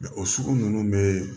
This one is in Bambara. O sugu ninnu bɛ